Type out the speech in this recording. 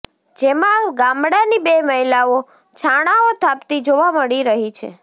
જેમાં ગામડાની બે મહિલાઓ છાણાઓ થાપતી જોવા મળી રહી છે